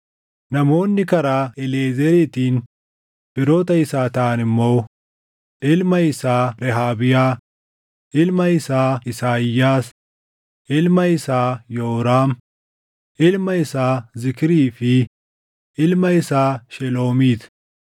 Namoonni karaa Eliiʼezeriitiin firoota isaa taʼan immoo: ilma isaa Rehaabiyaa, ilma isaa Isaayyaas, ilma isaa Yooraam, ilma isaa Zikrii fi ilma isaa Sheloomiit.